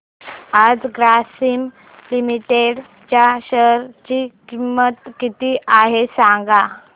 आज ग्रासीम लिमिटेड च्या शेअर ची किंमत किती आहे सांगा